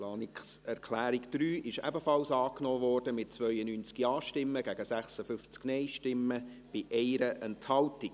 Die Planungserklärung 3 wurde ebenfalls angenommen, mit 92 Ja- gegen 56 Nein-Stimmen bei 1 Enthaltung.